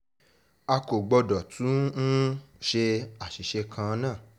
a kò gbọ́dọ̀ tún um ṣe àṣìṣe kan náà